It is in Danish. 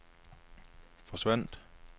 forsvandt